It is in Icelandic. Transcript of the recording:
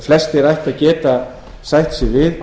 flestir ættu að geta sætt sig við